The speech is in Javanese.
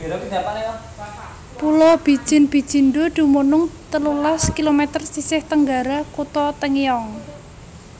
Pulo Bijin Bijindo dumunung telulas kilometer sisih tenggara Kutha Tongyeong